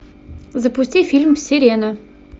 запусти фильм сирена